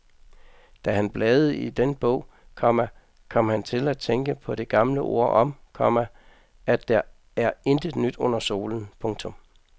Da han bladede i den bog, komma kom han til at tænke på det gamle ord om, komma at der er intet nyt under solen. punktum